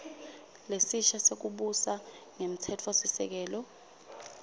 lesisha sekubusa ngemtsetfosisekelo